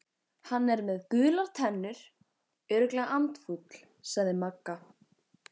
Hann er með gular tennur, örugglega andfúll sagði Magga.